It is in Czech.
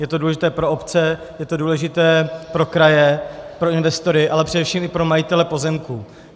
Je to důležité pro obce, je to důležité pro kraje, pro investory, ale především i pro majitele pozemků.